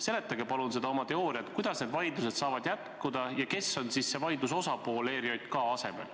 Seletage palun seda teooriat, kuidas need vaidlused saavad jätkuda ja kes on siis vaidluste teine osapool ERJK asemel.